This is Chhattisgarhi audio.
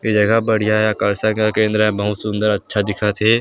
ये जगह बढ़ियाँ हे आकाशा का केंद्र हे बहुत सुन्दर अच्छा दिखत हे।